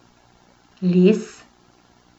Les.